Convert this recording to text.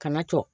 Kana tɔ